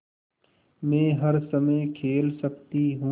मै हर समय खेल सकती हूँ